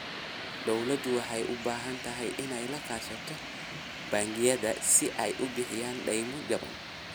Dawladdu waxay u baahan tahay inay la kaashato bangiyada si ay u bixiyaan daymo jaban.